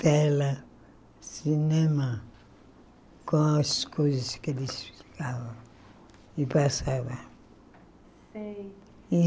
Tela, cinema, com as coisas que eles ficavam e passava.